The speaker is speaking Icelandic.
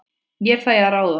Ég fæ að ráða.